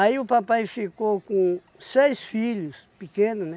o papai ficou com seis filhos, pequeno, né?